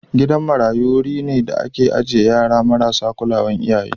Gidan marayu wuri ne da ake ajiye yara marasa kulawan iyaye.